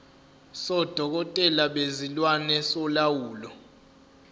sodokotela bezilwane solawulo